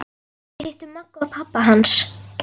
Við hittum Magga og pabba hans!